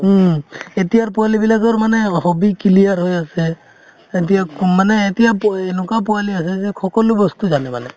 উম, এতিয়াৰ পোৱালিবিলাকৰ মানে hobby clear হৈ আছে এতিয়া কম মানে এতিয়া পো এনেকুৱা পোৱালি হৈছে যে সকলো বস্তু জানে যে মানে